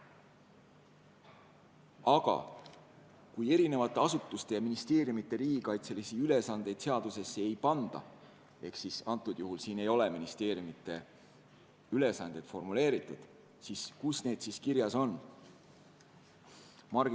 Aga kui eri asutuste, sh ministeeriumide riigikaitselisi ülesandeid seadusesse ei panda – selles eelnõus ei ole ministeeriumide ülesanded formuleeritud –, siis kus need kirjas on?